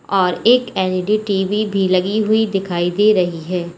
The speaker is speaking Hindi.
और एक एल_इ_डी टी_वी भी लगी हुई दिखाई दे रही है।